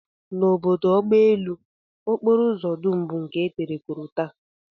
N'obodo agbaelu, okporoụzọ dum bụ nke e tere korota